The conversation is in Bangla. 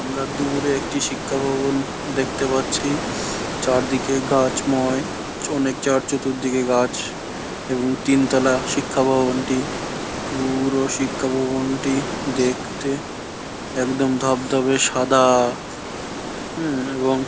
আমরা দূরে একটি দূরে শিক্ষা ভবণ দেখতে পারছি। চারদিকে গাছ ময়। অনক চার চতুর্দিকে গাছ। এবং তিন তলা শিক্ষা ভবন টি পু-উরো শিক্ষা ভবনটি দেখতে একদম ধপ ধপে সাদা। হুম এবং --